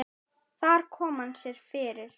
Þar kom hann sér fyrir.